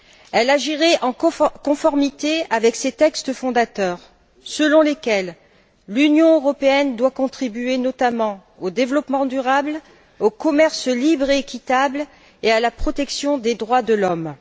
Elle agirait en conformité avec ses textes fondateurs selon lesquels l'Union européenne doit contribuer notamment au développement durable, au commerce libre et équitable et à la protection des droits de l'homme.